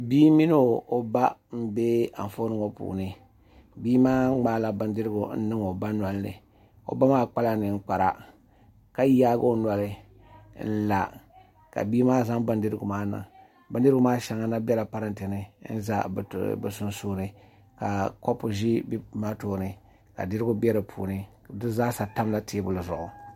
Bia mini o ba nbɛ Anfooni ŋo puuni bia maa ŋmaala bindirigu n niŋ o ba nolini o ba maa kpala ninkpara ka yaagi o noli n la ka bia maa zaŋ bindirigu maa niŋ bindirigu maa shɛŋa na biɛla parantɛ ni n ʒɛ bi sunsuuni ka kopu ʒi bi tooni ka dirigu bɛ di puuni di zaa sa tamla teebuli zuɣu